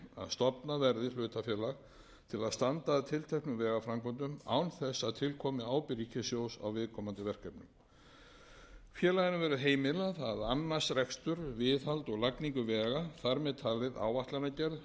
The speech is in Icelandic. stofnað verði hlutafélag til að standa að tilteknum vegaframkvæmdum án þess að til komi ábyrgð ríkissjóðs á viðkomandi verkefnunum félaginu verður heimilað að annast rekstur viðhald og lagningu vega þar með talin áætlanagerð